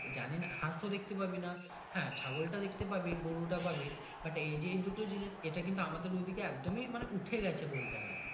জানি না হাঁস ও দেখতে পাবি না হ্যাঁ ছাগল টা দেখতে পাবি গরু টা পাবি But এই যে দুটো জিনিস ইটা কিন্তু আমাদের ওদিকে একদমই উঠে গাছে বলতে গেলে।